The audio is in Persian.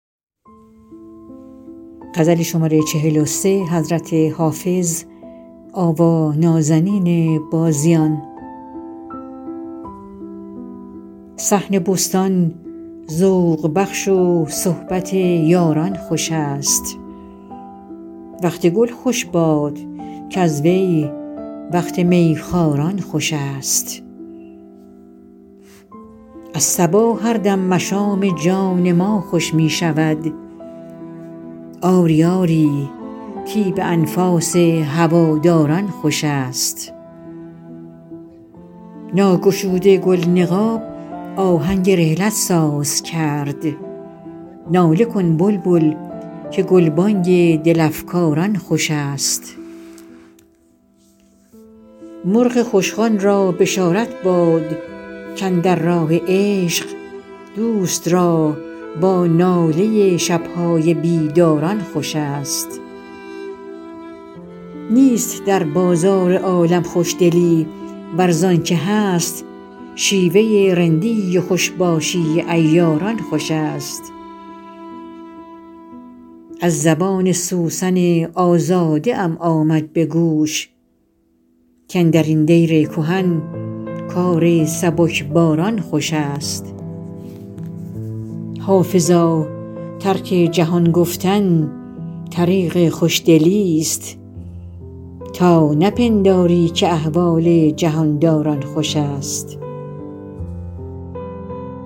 صحن بستان ذوق بخش و صحبت یاران خوش است وقت گل خوش باد کز وی وقت می خواران خوش است از صبا هر دم مشام جان ما خوش می شود آری آری طیب انفاس هواداران خوش است ناگشوده گل نقاب آهنگ رحلت ساز کرد ناله کن بلبل که گلبانگ دل افکاران خوش است مرغ خوشخوان را بشارت باد کاندر راه عشق دوست را با ناله شب های بیداران خوش است نیست در بازار عالم خوشدلی ور زان که هست شیوه رندی و خوش باشی عیاران خوش است از زبان سوسن آزاده ام آمد به گوش کاندر این دیر کهن کار سبکباران خوش است حافظا ترک جهان گفتن طریق خوشدلیست تا نپنداری که احوال جهان داران خوش است